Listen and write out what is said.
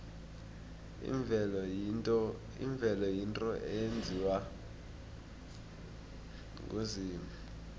imvelo yinto eyenziwe nguzimu